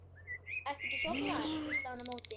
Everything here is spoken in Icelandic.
Ertu ekki sofnaður? hvíslaði hann á móti.